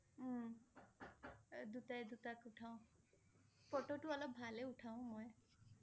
উম দুটাই দুটাক উঠাও, ফটো টো অলপ ভালেই উথাও মই